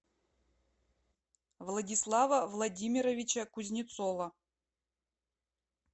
владислава владимировича кузнецова